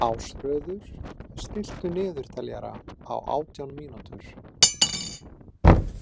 Ásröður, stilltu niðurteljara á átján mínútur.